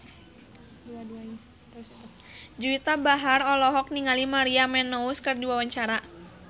Juwita Bahar olohok ningali Maria Menounos keur diwawancara